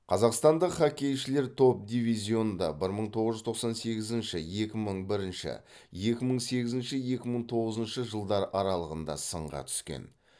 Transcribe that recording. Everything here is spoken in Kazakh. қазақстандық хоккейшілер топ дивизионда бір мың тоғыз жүз тоқсан сегізінші екі мың бірінші екі мың сегізінші екі мың тоғызыншы жылдар аралығында сынға түскен